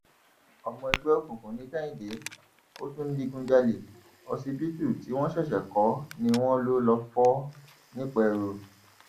ọmọ ẹgbẹ òkùnkùn ní kehinde ó tún ń digunjalè ọsibítù tí wọn ṣẹṣẹ kó ni wọn lọọ fọ nìpẹrù